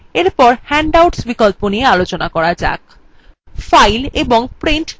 এরপর handouts বিকল্প নিয়ে আলোচনা করা যাক file এবং print click করুন